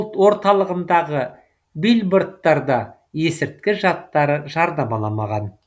орталығындағы билбордтарда есірткі жаттары жарнамаланбаған